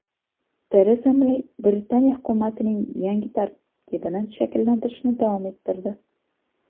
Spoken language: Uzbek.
Tereza Mey Britaniya hukumatining yangi tarkibini shakllantirishni davom ettirdi.